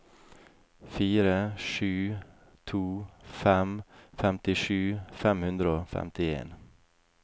fire sju to fem femtisju fem hundre og femtien